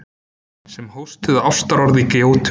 Sem hóstuðu ástarorð í gjótum.